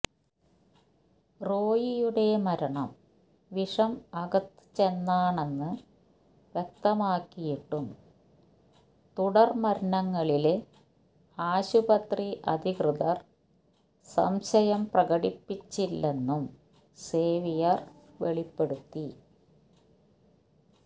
റോയിയുടെ മരണം വിഷം അകത്ത് ചെന്നാണെന്ന് വ്യക്തമായിട്ടും തുടര് മരണങ്ങളില് ആശുപത്രി അധികൃതര് സംശയം പ്രകടിപ്പിച്ചില്ലെന്നും സേവ്യർ വെളിപ്പെടുത്തി